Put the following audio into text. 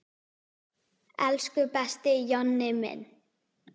Elsku besti Jonni minn.